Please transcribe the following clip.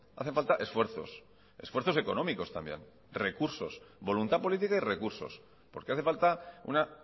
hace falta esfuerzos esfuerzos económicos también recursos voluntad política y recursos porque hace falta una